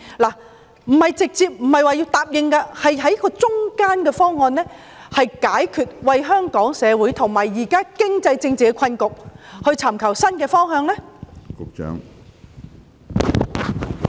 我不是要當局一口答應，而是要設法找出一個中間方案，以及為香港社會現時的經濟及政治困局尋找新的方向。